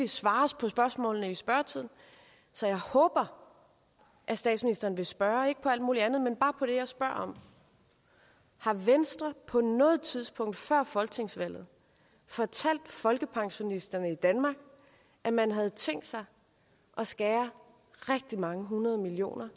svares på spørgsmålene i spørgetimen så jeg håber at statsministeren vil svare ikke på alt muligt andet men bare på det som jeg spørger om har venstre på noget tidspunkt før folketingsvalget fortalt folkepensionisterne i danmark at man havde tænkt sig at skære rigtig mange hundrede millioner